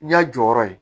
N'i y'a jɔyɔrɔ ye